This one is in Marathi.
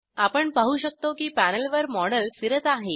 आपण पाहू शकतो की पॅनलवर मॉडेल फिरत आहे